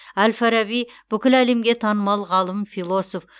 әл фараби бүкіл әлемге танымал ғалым философ